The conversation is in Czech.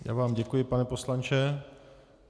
Já vám děkuji, pane poslanče.